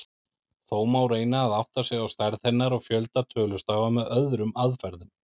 Þó má reyna að átta sig á stærð hennar og fjölda tölustafa með öðrum aðferðum.